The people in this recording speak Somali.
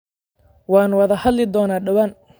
Waan wada hadli doonaa dhawaan